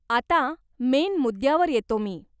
आता मेन मुद्द्यावर येतो मी.